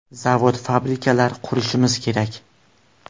Zavod-fabrikalar qurishimiz kerak.